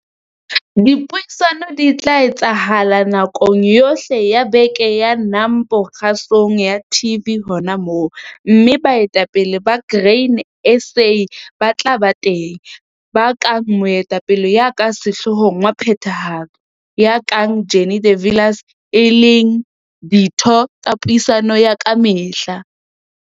Dipuisano di etsahala nakong yohle ya beke ya NAMPO kgasong ya TV hona moo, mme baetapele ba Grain SA bat la ba teng, ba kang Moetapele ya ka Sehloohong wa Phethahatso, ya kang Jannie de Villiers, e leng ditho tsa puisano ya ka mehla.